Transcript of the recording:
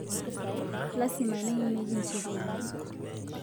Lasima neimieki ncheriani